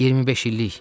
25 illik.